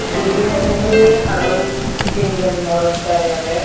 dibe miley aro tinjon morot darey agey.